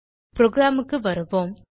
program க்கு வருவோம்